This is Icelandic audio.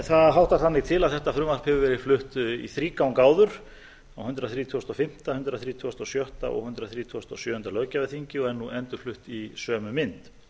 það háttar þannig til að þetta frumvarp hefur verið flutt í þrígang áður á hundrað þrítugasta og fimmta hundrað þrítugasta og sjötta og hundrað þrítugasta og sjöunda löggjafarþingi og er nú endurflutt í sömu mynd